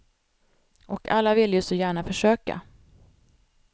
Och alla vill ju så gärna försöka.